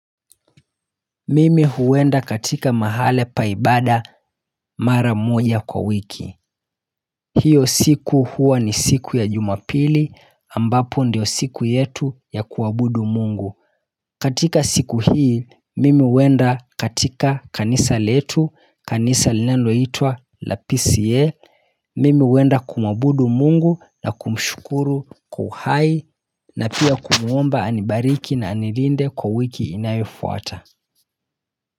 Mimi huwenda katika mahale pa ibada mara moja kwa wiki hiyo siku huwa ni siku ya jumapili ambapo ndiyo siku yetu ya kuwabudu mungu katika siku hii mimi huwenda katika kanisa letu kanisa lineloitwa la PCA Mimi huwenda kumwabudu mungu na kumshukuru kwa uhai na pia kumwomba anibariki na anilinde kwa wiki inayofuata.